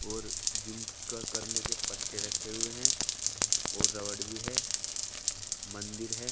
पर जिम का करने के पट्टे रखे हुए हैं और रबड़ भी है मंदिर है।